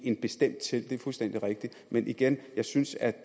en bestemt ting det er fuldstændig rigtigt men igen jeg synes at